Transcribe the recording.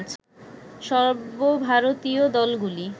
সর্বভারতীয় দলগুলি